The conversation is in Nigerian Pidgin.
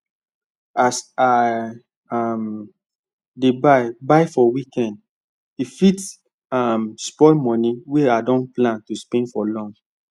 as i um dey buy buy for weekend fit um spoil money wey i don plan to spend for long